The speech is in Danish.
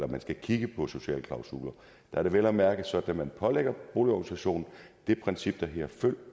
man skal kigge på sociale klausuler er det vel at mærke sådan at man pålægger boligorganisationen det princip der hedder følg